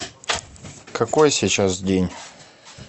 какой сейчас день